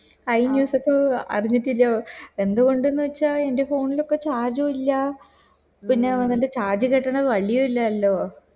I news ഇപ്പൊ അറിഞ്ഞിട്ടിലോ എന്ത് കൊണ്ട്ന്ന് വച്ച അൻറെ phone ലോക്കെ charge ഇല്ല പിന്നെ വന്നിട്ട് charge കിട്ടണ വളിയും ഇല്ലല്ലോ